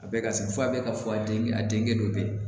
A bɛɛ ka se f'a bɛɛ ka fɔ a den a denkɛ dɔ bɛ ye